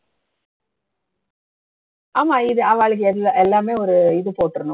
ஆமா இது அவாளுக்கு எல்லா எல்லாமே ஒரு இது போட்டுறணும்